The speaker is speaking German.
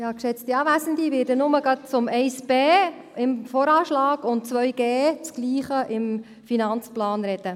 Ich werde nur gerade zu den Anträgen 1b im VA und 2g, dasselbe im Finanzplan, sprechen.